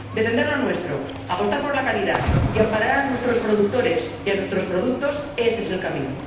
Defender lo nuestro, apostar por la calidad y amparar a nuestros productores y a nuestros productos, ese es el camino.